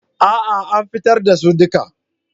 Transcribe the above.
A'a an fitar da su duka.